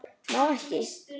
Má ekki.